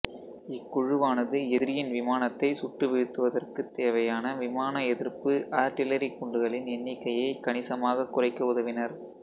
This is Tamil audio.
இக்குழுவானது எதிரியின் விமானத்தைச் சுட்டு வீழ்த்துவதற்குத் தேவையான விமான எதிர்ப்பு ஆட்டிலரி குண்டுகளின் எண்ணிக்கையைக் கணிசமாகக் குறைக்க உதவினர்